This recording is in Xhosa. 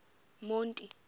monti